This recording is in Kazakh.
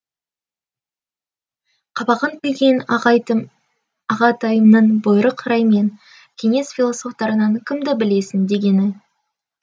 қабағын түйген ағатайымның бұйрық раймен кеңес философтарынан кімді білесің дегенің